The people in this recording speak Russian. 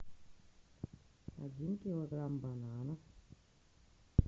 один килограмм бананов